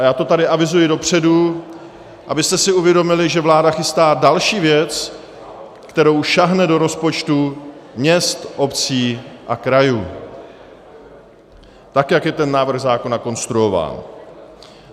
A já to tady avizuji dopředu, abyste si uvědomili, že vláda chystá další věc, kterou sáhne do rozpočtů měst, obcí a krajů, tak jak je ten návrh zákona konstruován.